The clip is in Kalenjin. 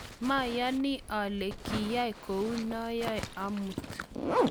mayani ale kiyai kou noe amut